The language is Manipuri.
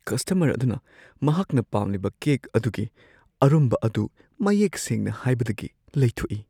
ꯀꯁꯇꯃꯔ ꯑꯗꯨꯅ ꯃꯍꯥꯛꯅ ꯄꯥꯝꯂꯤꯕ ꯀꯦꯛ ꯑꯗꯨꯒꯤ ꯑꯔꯨꯝꯕ ꯑꯗꯨ ꯃꯌꯦꯛ ꯁꯦꯡꯅ ꯍꯥꯏꯕꯗꯒꯤ ꯂꯩꯊꯣꯛ ꯏ ꯫